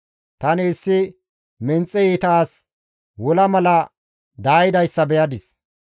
Tani issi menxe iita asi wola mala daayidayssa beyadis.